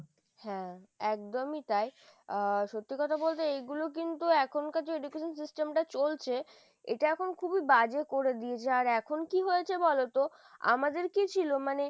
হ্যাঁ, একদমই তাই আহ সত্যি কথা বলতে এগুলো কিন্তু এখনকার যে education system টা চলছে এটা এখন খুবই বাজে করে দিয়েছে, আর এখন কি হয়েছে বলোতো? আমাদের কি ছিল? মানে,